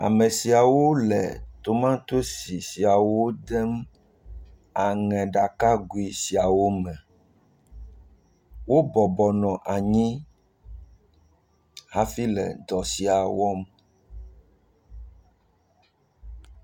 Ame siawo le tomatosi siawo dem aŋeɖakagui siawo me. Wobɔbɔ nɔ anyi hafi le dɔ sia wɔm.